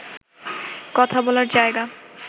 কথা বলার জায়গা